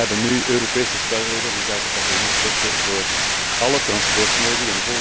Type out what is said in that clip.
Wij hebben nu Europese spelregels inzake passagiersrechten voor alle transportmodi.